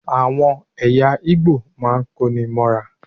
Àwọn ẹ̀yà Ìgbò máa ń kó ní móra.